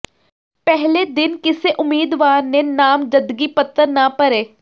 ਪਹਿਲੇ ਦਿਨ ਕਿਸੇ ਉਮੀਦਵਾਰ ਨੇ ਨਾਮਜ਼ਦਗੀ ਪੱਤਰ ਨਾ ਭਰੇ